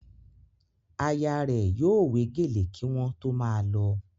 Aya rẹ̀ yóò wé gèlè kí wọ́n tó máa lọ